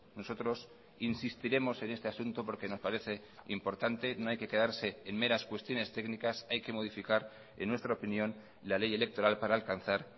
nosotros insistiremos en este asunto porque nos parece importante no hay que quedarse en meras cuestiones técnicas hay que modificar en nuestra opinión la ley electoral para alcanzar